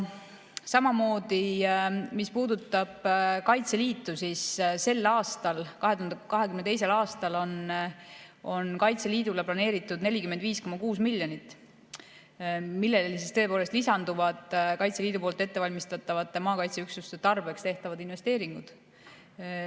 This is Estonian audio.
Samamoodi, mis puudutab Kaitseliitu, siis sel aastal, 2022. aastal on Kaitseliidule planeeritud 45,6 miljonit, millele tõepoolest lisanduvad Kaitseliidu ettevalmistatavate maakaitseüksuste tarbeks tehtavad investeeringud.